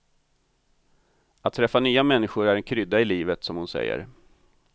Att träffa nya människor är en krydda i livet, som hon säger.